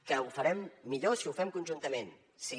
que ho farem millor si ho fem conjuntament sí